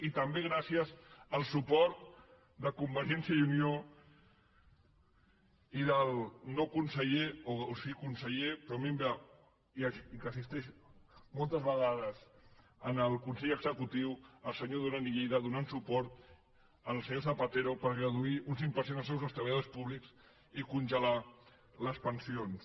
i també gràcies al suport de convergència i unió i del no conseller o sí conseller com a mínim assisteix moltes vegades al consell executiu el senyor duran i lleida que va donar suport al senyor zapatero per reduir un cinc per cent els sous dels treballadors públics i congelar les pensions